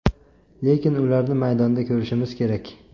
Lekin ularni maydonda ko‘rishimiz kerak.